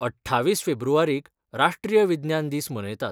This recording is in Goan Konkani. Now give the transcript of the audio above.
अठ्ठावीस फेब्रुवारीक राष्ट्रीय विज्ञान दीस मनयतात.